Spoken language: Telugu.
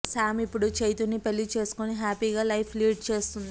సామ్ ఇప్పుడు చైతుని పెళ్లి చేసుకొని హ్యాపీగా లైఫ్ లీడ్ చేస్తుంది